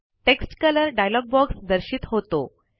text colour dialogue box दर्शित होतो